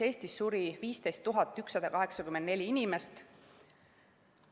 Eestis suri 15 184 inimest.